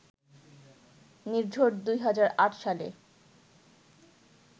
নির্ঝর ২০০৮ সালে